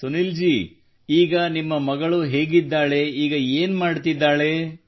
ಸುನೀಲ್ ಜೀ ನಿಮ್ಮ ಮಗಳು ಈಗ ಹೇಗಿದ್ದಾಳೆ ಈಗ ಏನು ಮಾಡುತ್ತಿದ್ದಾಳೆ